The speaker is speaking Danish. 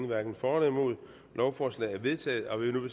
hverken for eller imod stemte lovforslaget er vedtaget og vil nu